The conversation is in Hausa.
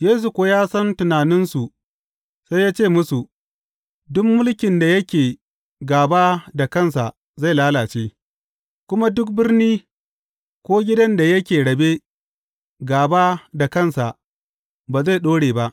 Yesu kuwa ya san tunaninsu sai ya ce musu, Duk mulkin da yake gāba da kansa zai lalace, kuma duk birni ko gidan da yake rabe gāba da kansa ba zai ɗore ba.